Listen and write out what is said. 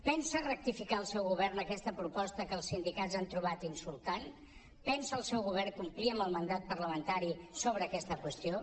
pensa rectificar el seu govern aquesta proposta que els sindicats han trobat insultant pensa el seu govern complir amb el mandat parlamentari sobre aquesta qüestió